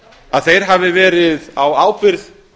að þeir hafi verið á ábyrgð